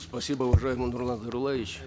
спасибо уважаемый нурлан зайроллаевич